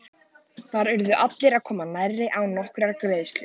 Þar urðu allir að koma nærri og án nokkurrar greiðslu.